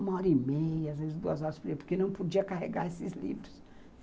Uma hora e meia, às vezes duas horas por dia, porque não podia carregar esses livros.